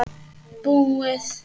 Búið